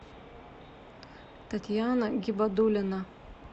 татьяна гибадуллина